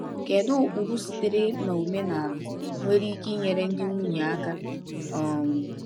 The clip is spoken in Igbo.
Kedu ụkpụrụ sitere n’omenala nwere ike inyere ndị nwunye aka? um